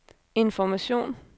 information